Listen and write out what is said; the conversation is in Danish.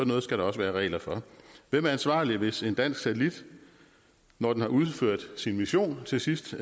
noget skal der også være regler for hvem er ansvarlig hvis en dansk satellit når den har udført sin mission til sidst